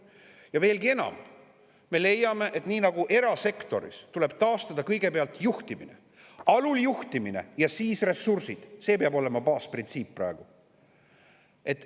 Ja veelgi enam, me leiame, et nii nagu erasektoris tuleb taastada kõigepealt juhtimine – alul juhtimine ja siis ressursid, see peab olema praegu baasprintsiip.